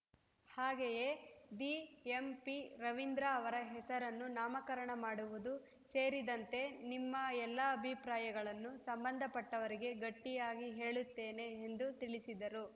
ಹಾಗೆಯೇ ದಿಎಂಪಿರವಿಂದ್ರ ಅವರ ಹೆಸರನ್ನು ನಾಮಕರಣ ಮಾಡುವುದು ಸೇರಿದಂತೆ ನಿಮ್ಮ ಎಲ್ಲಾ ಅಭಿಪ್ರಾಯಗಳನ್ನು ಸಂಬಂಧ ಪಟ್ಟವರಿಗೆ ಗಟ್ಟಿಯಾಗಿ ಹೇಳುತ್ತೇನೆ ಎಂದು ತಿಳಿಸಿದರು